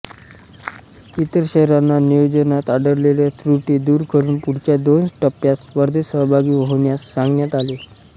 इतर शहरांना नियोजनात आढळलेल्या त्रुटी दूर करून पुढच्या दोन टप्प्यांत स्पर्धेत सहभागी होण्यास सांगण्यात आले